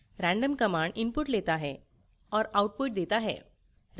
random command input लेता है और output देता है